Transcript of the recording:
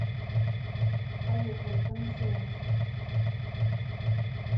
поехали комиссионщик